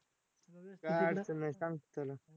काय अडचण नाही सांगतो त्याला